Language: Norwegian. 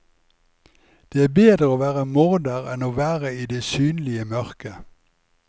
Det er bedre å være morder enn å være i det synlige mørket.